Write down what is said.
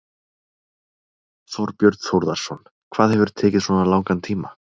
Þorbjörn Þórðarson: Hvað hefur tekið svona langan tíma?